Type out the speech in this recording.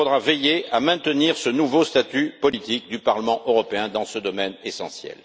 Il faudra veiller à maintenir ce nouveau statut politique du Parlement européen dans ce domaine essentiel.